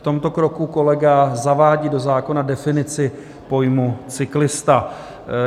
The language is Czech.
V tomto kroku kolega zavádí do zákona definici pojmu cyklista.